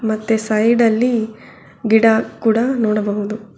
ಮತ್ತೆ ಸೈಡ್ ಅಲ್ಲಿ ಗಿಡ ಕೂಡ ನೋಡಬಹುದು.